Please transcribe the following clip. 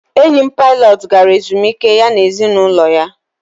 enyi m pilot gara ezumike ya na ezinụlọ ya